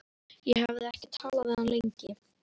Ég hafði ekki talað við hann lengi.